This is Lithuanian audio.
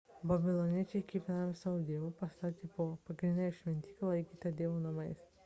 babiloniečiai kiekvienam iš savo dievų pastatė po pagrindinę šventyklą laikytą dievo namais